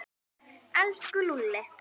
Elsku Lúlli.